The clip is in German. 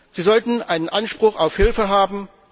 Sie sollten einen Anspruch auf Hilfe haben.